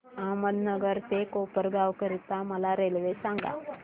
अहमदनगर ते कोपरगाव करीता मला रेल्वे सांगा